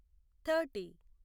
thirty